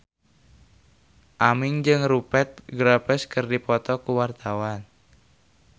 Aming jeung Rupert Graves keur dipoto ku wartawan